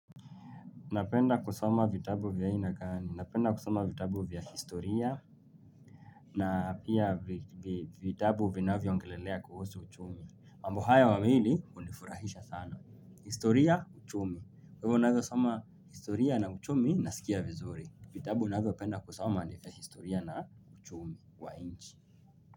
Napenda kusoma vitabu vya aina gani. Napenda kuoma vitabu vya historia na pia vitabu vinavyo ongelelea kuhusu uchumi. Mambo haya wamili hunifurahisha sana. Historia Uchumi, Kwaivo naeza soma historia na uchumi naskia vizuri. Vitabu navyo penda kusoma ni vya historia na uchumi wa inchi.